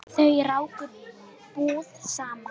Þau ráku búð saman.